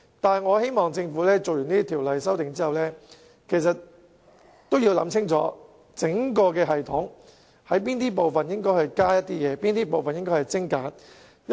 不過，我希望在完成對《條例草案》的修訂後，政府可想清楚應在整個系統的哪個部分增加及精簡步驟。